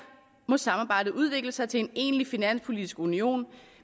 må samarbejdet udvikle sig til en egentlig finanspolitisk union